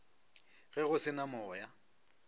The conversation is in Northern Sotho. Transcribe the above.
ge go se na moya